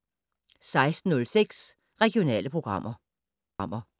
16:06: Regionale programmer